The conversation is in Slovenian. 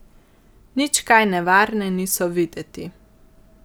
Nič kaj nevarne niso videti.